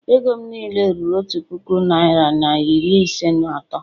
Ego m niile ruru otu puku naira na iri ise na atọ